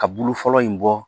Ka bulu fɔlɔ in bɔ